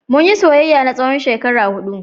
Mun yi soyayya na tsawon shekara huɗu.